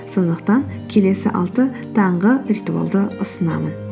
сондықтан келесі алты таңғы ритуалды ұсынамын